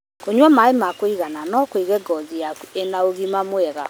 Kũnyua maĩ ma kũigana no kũige ngothi yaku ĩna ũgima mwega.